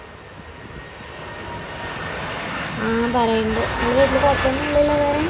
ആ പറയണ്ട് നിങ്ങളെ വീട്ടിൽ കുഴപ്പമൊന്നുമില്ലല്ലോ വേറെ